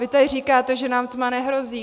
Vy tady říkáte, že nám tma nehrozí.